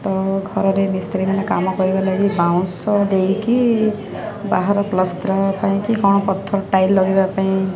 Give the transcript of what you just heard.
ତ ଘରରେ ମିସ୍ତ୍ରୀ ମାନେ କାମକରିବା ଲାଗି ବାଉଁଶ ଦେଇକି ବାହାର ପଲସ୍ତରା ପାଇଁକି କଣ ପଥର ଟାଇଲ ଲଗେଇବାପାଇଁ --